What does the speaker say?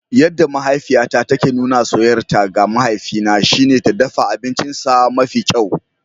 Yadda mahaifiyata take nuna soyayyarta ga mahaifina shine ta dafa abincinsa mafi kyau.